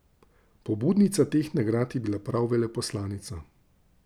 Pobudnica teh nagrad je bila prav veleposlanica.